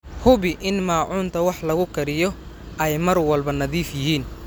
Hubi in maacuunta wax lagu kariyo ay mar walba nadiif yihiin.